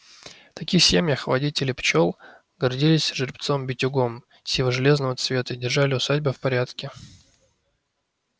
в таких семьях водители пчёл гордились жеребцом-битюгом сиво-железного цвета и держали усадьбы в порядке